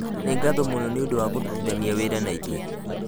Nĩ ngatho mũno nĩ ũndũ wa kũrutithania wĩra na ithuĩ